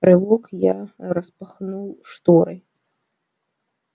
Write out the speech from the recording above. рывок я распахнул шторы